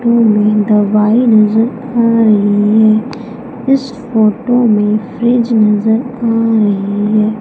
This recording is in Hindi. तस्वीर में दवाई नजर आ रही है इस फोटो में फ्रिज नजर आ रही है।